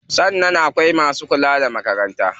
Sannan akwai masu lura da makarantar.